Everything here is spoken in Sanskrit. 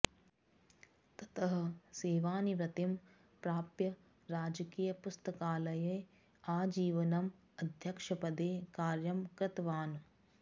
ततः सेवानिवृत्तिं प्राप्य राजकीयपुस्तकालये आजीवनम् अध्यक्षपदे कार्यं कृतवान्